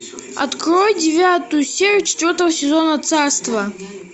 открой девятую серию четвертого сезона царство